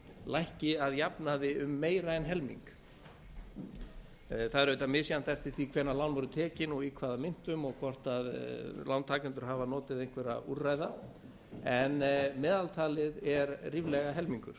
lækki að jafnaði um meira en helming það er auðvitað misjafnt eftir því hvenær lán voru tekin og í hvaða myntum og hvað lántakendur hafa notið einhverra úrræða en meðaltalið er ríflega helmingur